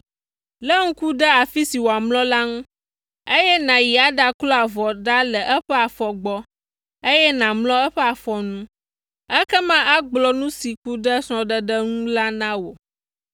Lé ŋku ɖe afi si wòamlɔ la ŋu, eye nàyi aɖaklo avɔ ɖa le eƒe afɔ gbɔ, eye nàmlɔ eƒe afɔ nu. Ekema agblɔ nu si ku ɖe srɔ̃ɖeɖe ŋu la na wò.”